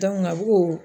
a b'o